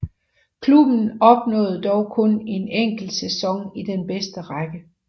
Klubben opnåede dog kun en enkelt sæson i den bedste række